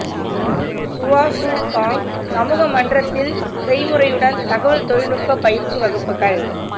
சுவா Chu Kang சமூக மன்றத்தில் செய்முறையுடன் தகவல் தொழில்நுட்பப் பயிற்சி வகுப்புகள்